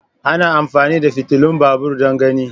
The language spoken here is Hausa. ana amfani da fitilun babur don gani.